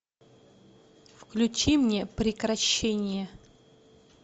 включи мне прекращение